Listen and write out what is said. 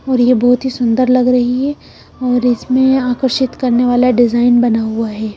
और ये बहुत ही सुंदर लग रही है और इसमें आकर्षित करने वाला डिजाइन बना हुआ है।